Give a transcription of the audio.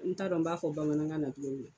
N t'a dɔn n b'a fɔ bamanankan na togo min na.